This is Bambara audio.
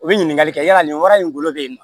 U bɛ ɲininkali kɛ yala nin wara in ngolo bɛ yen